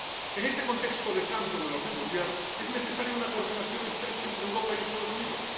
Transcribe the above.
En este contexto de cambio en el orden mundial es necesaria una coordinación estrecha entre Europa y los Estados Unidos.